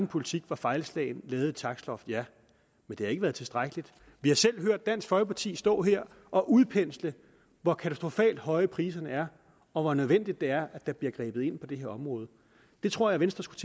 politik var fejlslagen lavede et takstloft ja men det har ikke været tilstrækkeligt vi har selv hørt dansk folkeparti stå her og udpensle hvor katastrofalt høje priserne er og hvor nødvendigt det er at der bliver grebet ind på det her område det tror jeg venstre skulle